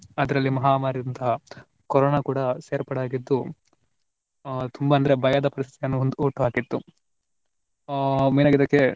ಅದರಲ್ಲಿ ಮಹಾಮಾರಿಯಾದಂತಹ ಕೊರೊನಾ ಕೂಡಾ ಸೇರ್ಪಡೆಯಾಗಿದ್ದು ಆ ತುಂಬಾ ಅಂದ್ರೆ ಭಯದ ಪರಿಸ್ಥಿತಿಯನ್ನು ಹೊಂದ್~ ಹುಟ್ಟುಹಾಕಿತ್ತು. ಆ lang:Foreign main lang:Foreign ಆಗಿ ಇದಕ್ಕೆ